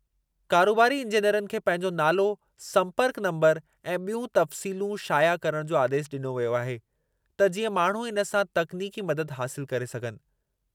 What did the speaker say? कारोबारी इंजेनरनि खे पंहिंजो नालो, संपर्कु नंबरु ऐं ॿियूं तफ़्सीलूं शाया करण जो आदेशु ॾिनो वियो आहे, त जीअं माण्हू इन सां तकनीकी मददु हासिलु करे सघनि।